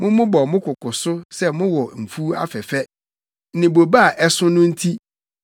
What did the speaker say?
Mommobɔ mo koko so sɛ mowɔ mfuw afɛfɛ ne bobe a ɛso no nti,